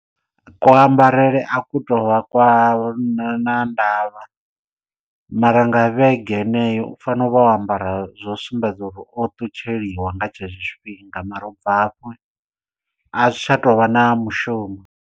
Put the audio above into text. Kuambarele a ku tou vha kwa na ndavha mara nga vhege heneyo u fanela u vha o ambara zwo sumbedza uri o ṱutsheliwa nga tshetsho tshifhinga mara ubva hafho a zwi tsha tou vha na mushumo.